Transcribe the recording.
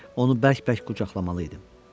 Onu bərk-bərk qucaqlamalı idim.